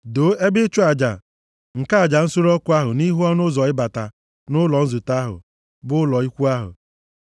“Doo ebe ịchụ aja nke aja nsure ọkụ ahụ nʼihu ọnụ ụzọ ịbata nʼụlọ nzute bụ ụlọ ikwu ahụ.